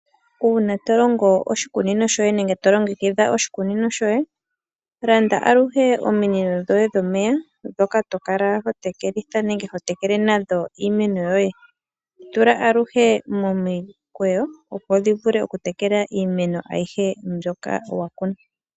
Uuna tolongo oshikunino shoye nenge tolongekidha oshikunino shoye, landa aluhe omino dhoye dhomeya dhoka tokala ho tekelitha nenge ho tekele nadho iimeno yoye, dhitula aluhe momikweyo opo dhi vule okutekela iimeno ayihe mbyoka wakuna.